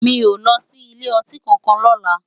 Mi ó lòsí ilé òtín kànkán lòlá